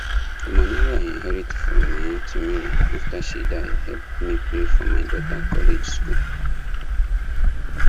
the money wey i inherit from my aunty mary after she die help me pay for my daughter college school